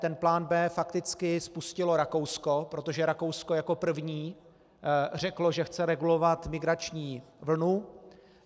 Ten plán B fakticky spustilo Rakousko, protože Rakousko jako první řeklo, že chce regulovat migrační vlnu.